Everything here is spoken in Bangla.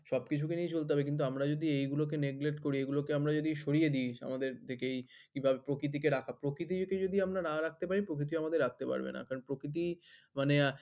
সবকিছুকে নিয়ে চলতে হবে। কিন্তু আমরা যদি এইগুলোকে neglect করি এইগুলোকে আমরা যদি সরিয়ে দিই আমাদের দিকেই কিংবা প্রকৃতিকে রাখা, প্রকৃতিকে যদি আমরা না রাখতে পারি প্রকৃতিও আমাদের রাখতে পারবে না। কারণ প্রকৃতি মানে